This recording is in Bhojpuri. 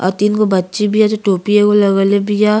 और तीन गो बच्ची बिया जो टोपी एगो लगाईले बिया।